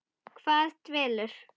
Hvað dvelur?